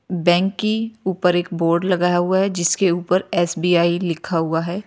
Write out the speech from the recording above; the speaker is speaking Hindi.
बैंक की ऊपर एक बोर्ड लगाया हुआ है जिसके ऊपर एस_बी_आई लिखा हुआ है।